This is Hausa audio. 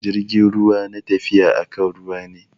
Jirgin ruwa na tafiya akan ruwa ne.